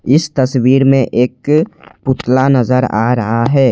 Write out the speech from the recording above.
इस तस्वीर में एक पुतला नजर आ रहा है।